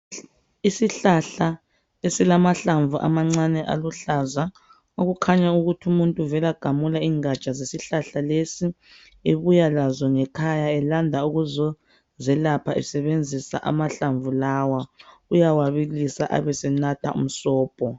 isihlahla esilamahlamvu amancane aluhlaza okukhanya ukuthi umuntu uvela gamula ingatsha zesihlahla lesi ebuya laso ngekhaya elanda ukuzozelapha esebenzisa amahlamvu lawa uyawabilisa ebesenatha umsobho